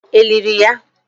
È liri ya?